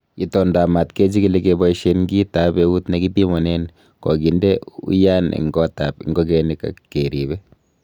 Itondaab maat kechigili keboishien kit ab eut nekipimonen kokindee uyaan en gotab ingogenik ak keribe.